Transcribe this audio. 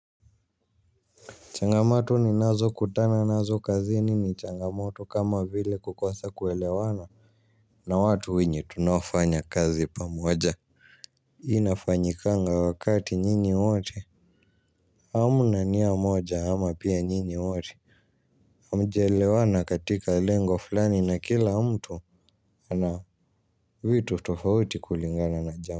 Changamoto ninazo kutana nazo kazini ni changamoto kama vile kukosa kuelewana na watu wenye tunaofanya kazi pamoja. Inafanyikanga wakati nyinyi wote hamna nia moja ama pia nyinyi wote hamjaelewana katika lengo fulani na kila mtu ana vitu tofauti kulingana na jambo.